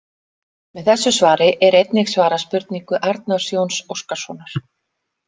Með þessu svari er einnig svarað spurningu Arnars Jóns Óskarssonar.